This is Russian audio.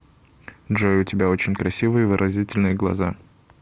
джой у тебя очень красивые и выразительные глаза